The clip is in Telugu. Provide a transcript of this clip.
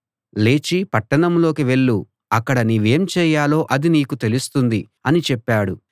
లేచి పట్టణంలోకి వెళ్ళు అక్కడ నీవేం చేయాలో అది నీకు తెలుస్తుంది అని చెప్పాడు